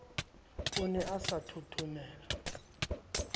o ne a sa thothomele